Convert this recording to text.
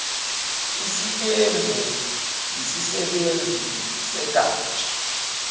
isitembu yisisebenzi segatsha